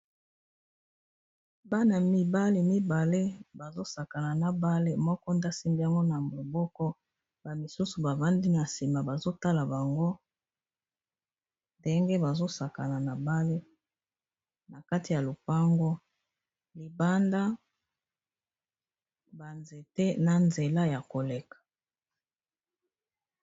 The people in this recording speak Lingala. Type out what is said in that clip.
Bana mibali mibale bazobeta ndembo ya maboko, moko nde asimbi yango na maboko ba misusu bavandi na sima bazotala bango ndenge bazobeta bale na kati ya lopango, libanda banzete na nzela ya koleka.